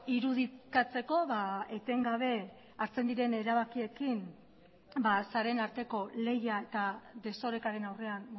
irudikatzeko etengabe hartzen diren erabakiekin sareen arteko lehia eta desorekaren aurrean